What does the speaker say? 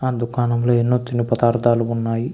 ఆ దుకాణంలో ఎన్నో తిను పదార్థాలు ఉన్నాయి.